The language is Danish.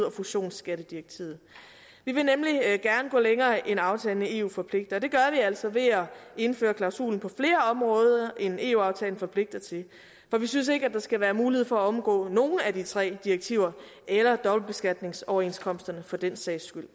og fusionsskattedirektivet vi vil nemlig gerne gå længere end aftalen med eu forpligter og det gør vi altså ved at indføre klausulen på flere områder end eu aftalen forpligter til for vi synes ikke at der skal være mulighed for at omgå nogen af de tre direktiver eller dobbeltbeskatningsoverenskomsterne for den sags skyld